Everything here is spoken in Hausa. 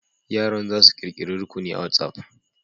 Yaran za su ƙirƙiri rukuni a WatsApp.